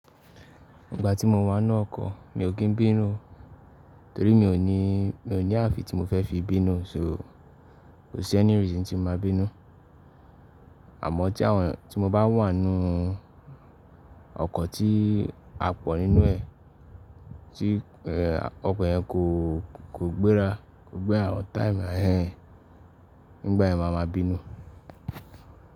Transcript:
Ìgbà tí mo wà nínú ọkọ̀ mi ò kín bínú, torí mi ò ní, mi ò ní ààfin tí mo fẹ́ fi bínú, so kò sí ẹ́ni reason tí mo máa bínú. Àmọ́ tí àwọn, tí mo bá wà nínú ọkọ̀ tí a pọ̀ nínú ẹ̀, tí ẹ, ọkọ̀ yẹn kò, kò gbéra, kò gbé àwọn tire yẹn, nígbà yẹn màá ma bínú.